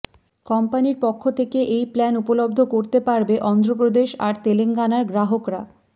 কোম্পানির পক্ষ থেকে এই প্ল্যান উপলব্ধ করতে পারবে অন্ধ্রপ্রেদেশ আর তেলেঙ্গানার গ্রাহকরা